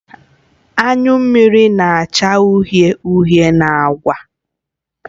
Anyụ mmiri na-acha uhie uhie na agba